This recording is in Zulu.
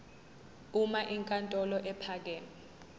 uma inkantolo ephakeme